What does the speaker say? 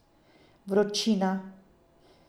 Vročina.